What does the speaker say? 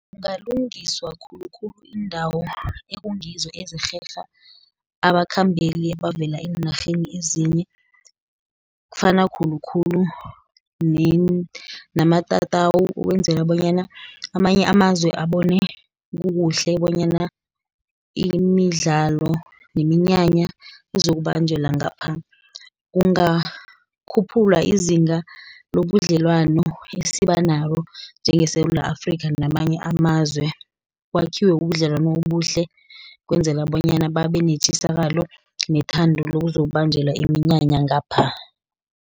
Kungalungiswa khulukhulu iindawo ekungizo ezirherha abakhambeli abavela eenarheni ezinye. Kufana khulukhulu namatatawu ukwenzela bonyana amanye amazwe abone kukuhle bonyana imidlalo neminyanya izokubanjelwa ngapha. Kungakhuphula izinga nobudlelwano esiba nabo njengeSewula Afrika namanye amazwe, kwakhiwe ubudlelwano obuhle, kwenzela bonyana babe netjisakalo, nethando lokuzokubanjelwa iminyanya ngapha.